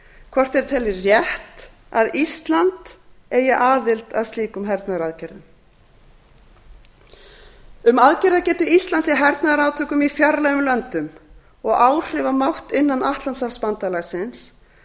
hvort þeir telji rétt að ísland eigi aðild að slíkum hernaðaraðgerðum um aðgerðagetu íslands í hernaðarátökum í fjarlægum löndum og áhrifamátt innan atlantshafsbandalagsins er